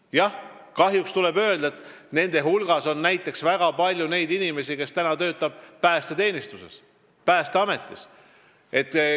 Jah, kahjuks tuleb öelda, et väikse palga teenijate hulgas on väga palju inimesi, kes töötavad Päästeametis, päästeteenistuses.